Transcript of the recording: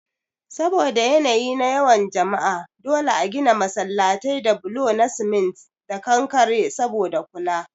Saboda yanayi na yawan jama'a dole a gina masallatai da bulo na cement da kankare saboda kula